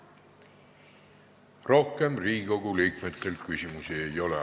Rohkem Riigikogu liikmetel küsimusi ei ole.